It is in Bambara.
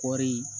Kɔɔri